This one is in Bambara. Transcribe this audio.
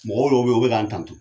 Mɔgɔ bɔw be yen u be kan tanto.